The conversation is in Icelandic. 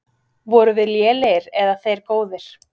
Vorum við lélegir eða þeir góðir?